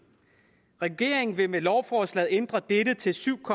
regeringen vil med lovforslaget ændre dette til syv